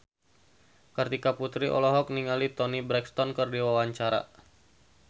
Kartika Putri olohok ningali Toni Brexton keur diwawancara